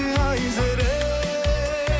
айзере